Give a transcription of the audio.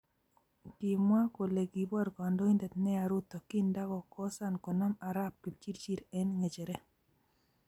Kimwa kole kibor kandoindet neya Ruto kindakosan konam Arap Kipchirchir eng ngecheret